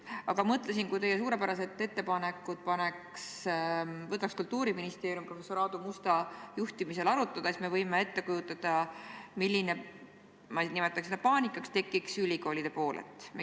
Aga ma mõtlesin, et kui Kultuuriministeerium võtaks teie suurepärased ettepanekud professor Aadu Musta juhtimisel arutada, siis me võime ette kujutada, milline reaktsioon – ma ei nimetaks seda paanikaks – tekiks ülikoolide poolelt.